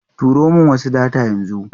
Turo min wasu data yanzu.